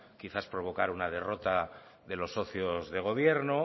quizás provocar una derrota de los socios de gobierno